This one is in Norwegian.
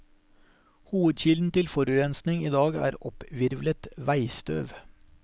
Hovedkilden til forurensning i dag er opphvirvlet veistøv.